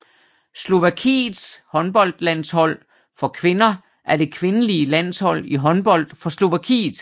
Slovakiets håndboldlandshold for kvinder er det kvindelige landshold i håndbold for Slovakiet